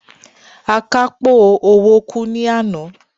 Akápò owó kú ní àná.